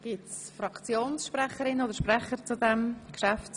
Wünschen Fraktionssprecherinnen oder sprecher das Wort?